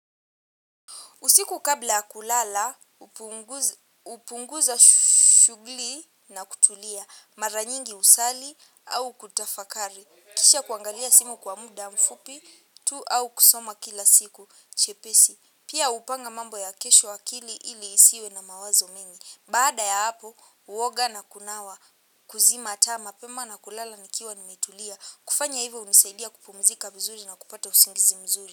Usiku kabla ya kulala, hupunguza shugli na kutulia mara nyingi husali au kutafakari. Kisha kuangalia simu kwa muda mfupi tu au kusoma kila siku chepesi. Pia hupanga mambo ya kesho akili ili isiwe na mawazo mengi. Baada ya hapo, huoga na kunawa kuzima taa mapema na kulala nikiwa nimetulia. Kufanya hivyo hunisaidia kupumzika vizuri na kupata usingizi mzuri.